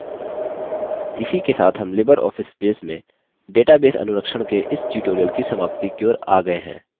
इसी के साथ हम libreoffice base में database अनुरक्षण के इस tutorial की समाप्ति की ओर आ गये हैं